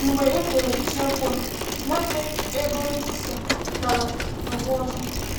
Mgbe edere isiokwu a, Nwanne Egon Hauser lara n’ụwa ọzọ.